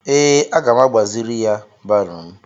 Ee, aga m agbaziri ya baro m.